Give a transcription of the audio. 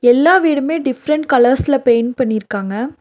எல்லா வீடுமே டிஃபரண்ட் கலர்ஸ்ல பெயிண்ட் பண்ணிருக்காங்க.